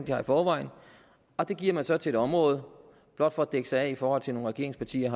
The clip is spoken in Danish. har i forvejen og det giver man så til et område blot for at dække sig af i forhold til nogle regeringspartier